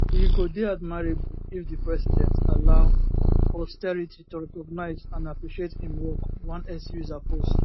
e go dey admirable if di president allow posterity to recognise and appreciate im work one x user post